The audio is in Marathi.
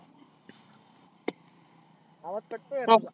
आवाज cut तोय राव तुझा.